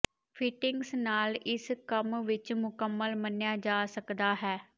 fittings ਨਾਲ ਇਸ ਕੰਮ ਵਿਚ ਮੁਕੰਮਲ ਮੰਨਿਆ ਜਾ ਸਕਦਾ ਹੈ